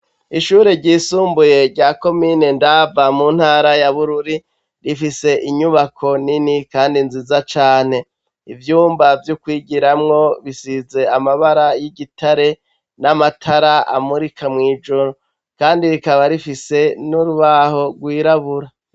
Ishure ryisumbuye rya komine Ndava, mu ntara ya Bururi, rifise inyubako nini kandi nziza cane. Ivyumba vyo kwigiramwo bisize amabara y'igitare n'amatara amurika mwijoro, kandi rikaba rifise n'urubaho rwirabura.